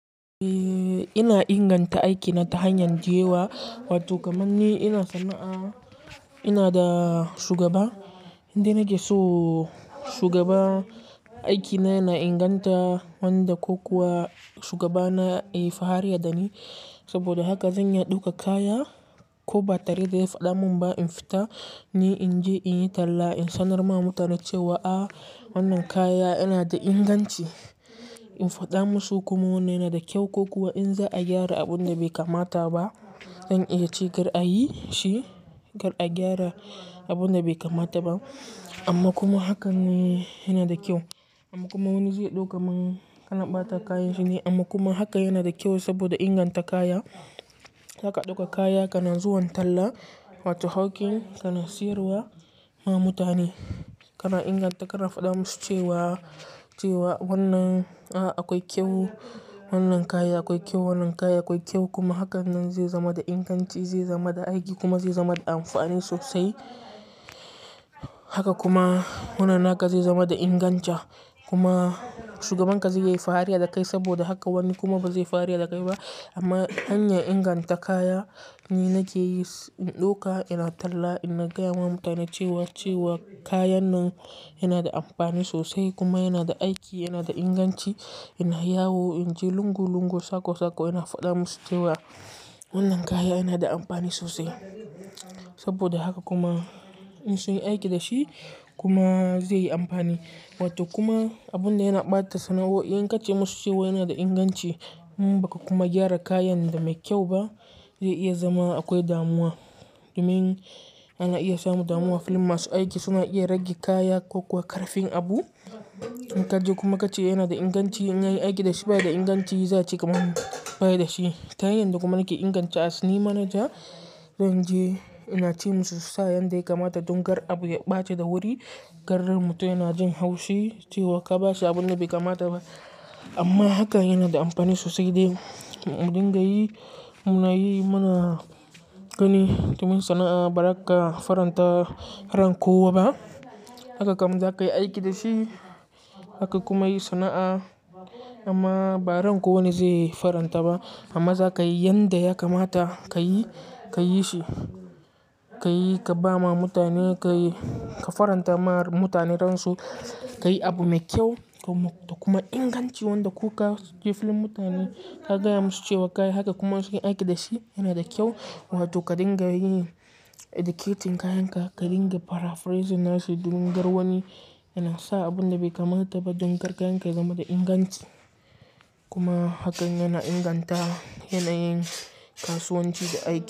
Eh ina inganta aiki na ta hanyar dayewa, wato kamanni ina sana'a ina da shugaba inda nake so shugaba aikina na inganta wanda ko kuwa shugaba na ya yi fariya da ni. Saboda haka zan iya ɗauka kaya ko batari zai faɗa mun ba in fita, ni in je in yi talla in sanar ma mutane cewa a wannan kaya yana da inganci. In faɗa musu kuma wannan yana da kyau ko kuwa in za a gyara abun da bai kamata ba, zan iya ce kar a yi shi kar a gyara abun da bai kamata ba. Amma kuma hakan ne yana da kyau amma kuma wani zai ɗauka man kana ɓata kayan shi ne? Amma kuma haka yana da kyau saboda inganta kaya. Zaka ɗauka kaya kana zuwan talla, wato hawking kana siyarwa ma mutane. Kana inganta kana faɗa musu cewa, cewa wannan a akwai kyau, wannan kaya akwai kyau, wannan kaya akwai kyau kuma hakan nan zai zama da inganci zai zama da aiki kuma zai zama da amfani sosai. Haka kuma wannan naka zai zama da inganci kuma shugabanka zai yi fariya da kai saboda haka wani kuma ba zai yi fariya da kai ba. Amma hanyar inganta kaya ni nake yi, in ɗauka ina talla ina gaya wa mutane cewa, cewa kayan nan yana da amfani sosai kuma yana da aiki, yana da inganci, yana yawo. In ji lungul lungul sako sako ina faɗa musu cewa wannan kaya yana da amfani sosai. Saboda haka kuma in sun yi aiki da shi kuma zai yi amfani. Wato kuma abun da yana ɓata sana'o'in in ka ce musu cewa yana da inganci, in ba ka kuma gyara kayan da mai kyau ba zai iya zama akwai damuwa. Domin ana iya samu damuwa a filin masu aiki, suna iya rage kaya ko kuwa ƙarfin abu. In ka je kuma ka ce yana da inganci in yayi aiki da shi bai da inganci, za su ce kamar bai da shi. Ta hanyar da kuma nake inganta asni manaja zan je ina ce musu su sa yanda ya kamata don kar abu ya ɓace da wuri. Kar raibmutum yana jin haushi cewa ka bashi abun da bai kamata ba. Amma haka yana da amfani sosai dai mun dinga yi, muna yi muna gani domin sana'a ba za ka faranta ran kowa ba. Haka kam za ka yi aiki da shi, haka kuma yi sana'a amma ba ran kowa ne zai faranta ba. Amma za ka yi yanda ya kamata ka yi, ka yi shi, ka yi ka ba ma mutane ka yi, ka faranta ma mutane ransu, ka yi abu mai kyau da kuma inganci wanda ko ka je filin mutane ka gaya musu cewa ka yi haka kuma sun yi aiki da shi yana da kyau. Wato ka dinga yi educating kayan ka, ka dinga paraphrasing nashi domin kar wani yana sa abun da bai kamata ba don kar kayan ka ya zama da inganci. Kuma hakan yana inganta yanayin kasuwanci da aiki.